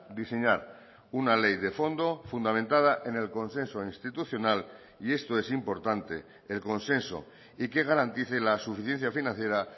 diseñar una ley de fondo fundamentada en el consenso institucional y esto es importante el consenso y que garantice la suficiencia financiera